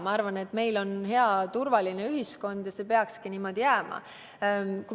Ma arvan, et meil on praegu hea turvaline ühiskond ja see peakski niimoodi jääma.